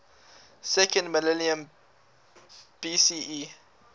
second millennium bce